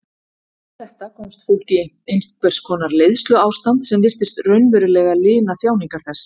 Við þetta komst fólk í einhvers konar leiðsluástand sem virtist raunverulega lina þjáningar þess.